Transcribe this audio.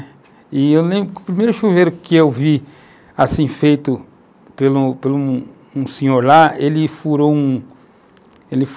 E eu lembro que o primeiro chuveiro que eu vi assim feito pelo pelo por um senhor lá, ele furou